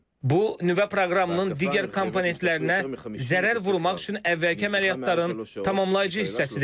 Bu nüvə proqramının digər komponentlərinə zərər vurmaq üçün əvvəlki əməliyyatların tamamlayıcı hissəsidir.